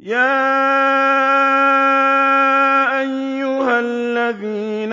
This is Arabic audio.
يَا أَيُّهَا الَّذِينَ